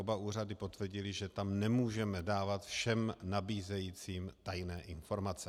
Oba úřady potvrdily, že tam nemůžeme dávat všem nabízejícím tajné informace.